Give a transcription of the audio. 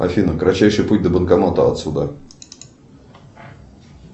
афина кратчайший путь до банкомата отсюда